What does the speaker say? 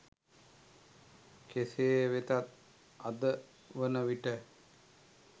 කෙසේ වෙතත් අද වන විට